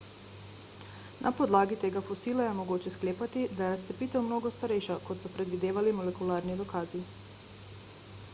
na podlagi tega fosila je mogoče sklepati da je razcepitev mnogo starejša kot so predvidevali molekularni dokazi